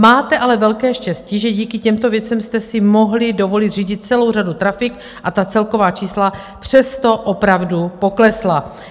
Máte ale velké štěstí, že díky těmto věcem jste si mohli dovolit zřídit celou řadu trafik, a ta celková čísla přesto opravdu poklesla.